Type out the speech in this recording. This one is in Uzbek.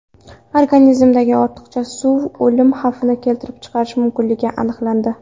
Organizmdagi ortiqcha suv o‘lim xavfini keltirib chiqarishi mumkinligi aniqlandi.